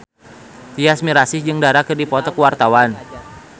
Tyas Mirasih jeung Dara keur dipoto ku wartawan